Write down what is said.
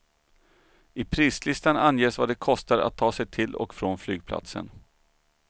I prislistan anges vad det kostar att ta sig till och från flygplatsen.